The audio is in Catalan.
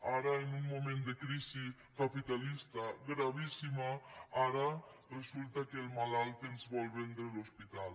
ara en un moment de crisi capitalista gravíssima ara resulta que el malalt ens vol vendre l’hospital